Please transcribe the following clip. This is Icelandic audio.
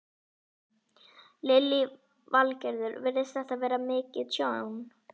Lillý Valgerður: Virðist þetta vera mikið tjón?